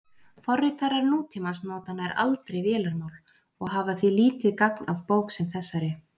Forritarar nútímans nota nær aldrei vélarmál og hafa því lítið gagn af bók sem þessari.